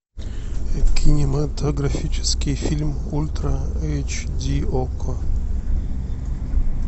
кинематографический фильм ультра эйч ди окко